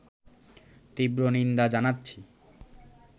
তীব্র নিন্দা জানাচ্ছি